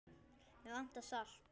Mig vantar salt.